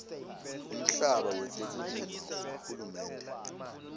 umhlaba wetekulima wahulumende